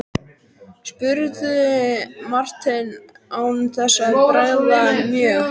spurði Marteinn án þess að bregða mjög.